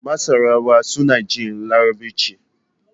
Masarawa suna jin Larabci.